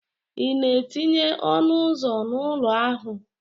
Ị na-etinye ọnụ ụzọ n'ụlọ ahụ?